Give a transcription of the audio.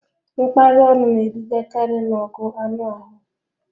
Mkparị ọnụ na-edugakarị n'ọgụ anụ ahụ